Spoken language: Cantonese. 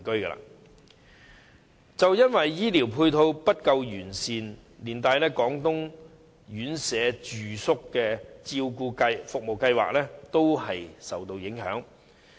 正正因為醫療配套不完善，以致廣東院舍住宿照顧服務試驗計劃也受影響。